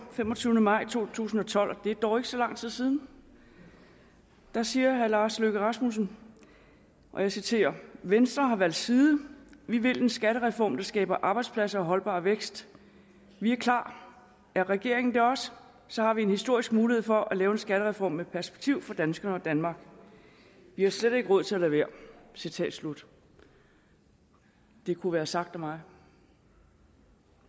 femogtyvende maj to tusind og tolv og det er dog ikke så lang tid siden siger herre lars løkke rasmussen og jeg citerer venstre har valgt side vi vil en skattereform der skaber arbejdspladser og holdbar vækst vi er klar er regeringen det også så har vi en historisk mulighed for at lave en skattereform med perspektiv for danskere og danmark vi har slet ikke råd til at lade være citat slut det kunne være sagt af mig